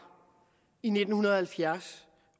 i nitten halvfjerds